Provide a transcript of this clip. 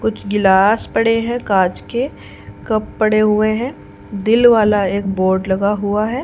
कुछ गिलास पड़े हैं कांच के कप पड़े हुए हैं दिल वाला एक बोर्ड लगा हुआ है।